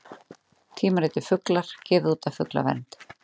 Tímaritið Fuglar, gefið út af Fuglavernd.